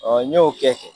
n y'o kɛ ten